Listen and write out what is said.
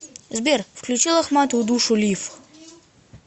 сбер включи лохматую душу лив